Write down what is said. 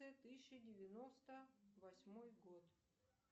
тысяча девяносто восьмой год